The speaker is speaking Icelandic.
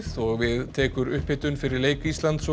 og við tekur upphitun fyrir leik Íslands og